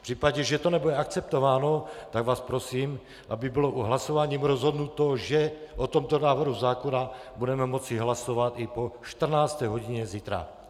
V případě, že to nebude akceptováno, tak vás prosím, aby bylo hlasováním rozhodnuto, že o tomto návrhu zákona budeme moci hlasovat i po 14. hodině zítra.